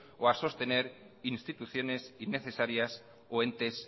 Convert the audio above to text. o a sostener instituciones innecesarias o entes